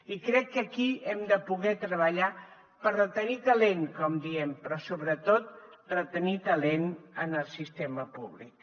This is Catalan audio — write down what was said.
i crec que aquí hem de poder treballar per retenir talent com diem però sobretot retenir talent en el sistema públic